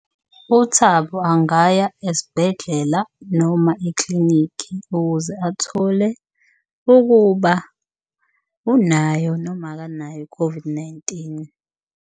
UThabo angaya esibhedlela noma eklinikhi ukuze athole ukuba unayo, noma akanayo i-COVID-19.